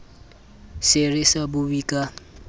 se re sa bue ka